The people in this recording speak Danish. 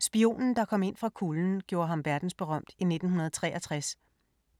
"Spionen der kom ind fra kulden" gjorde ham verdensberømt i 1963.